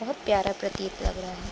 बहोत प्यारा प्रतीत लग रहा है ।